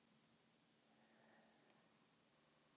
Þegar ég er komin inn í góðar bækur þá get ég ekki hætt.